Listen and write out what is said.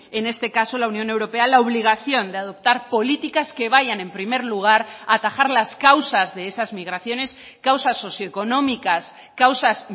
en este caso la unión europea la obligación de adoptar políticas que vayan en primer lugar a atajar las causas de esas migraciones causas socioeconómicas causas